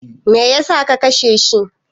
Me yasa ka kashe shi?